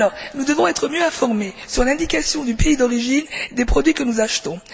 Nous devons être mieux informés sur l'indication du pays d'origine des produits que nous achetons.